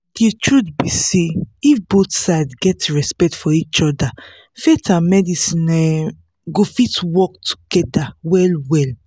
the truth be say if both sides get respect for each other faith and medicine um go fit work together well well